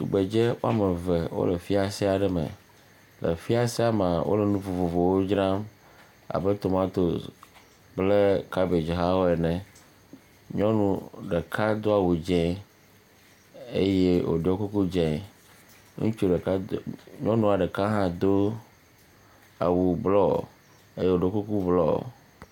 Tugbedze eve aɖewo le fiase aɖe me. Le fiasea mea, wole nu vovovowo dzram abe tomatosi kple kabedzi hawo ene. Nyɔnu ɖeka do awu dzẽ eye wòɖiɔ kuku dzẽ. Ŋutsua ɖeka do, nyɔnua ɖeka hã do awu blɔ eye wòɖiɔ kuku blɔ